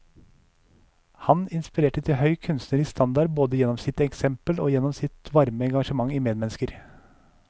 Han inspirerte til høy kunstnerisk standard både gjennom sitt eksempel og gjennom sitt varme engasjement i medmennesker.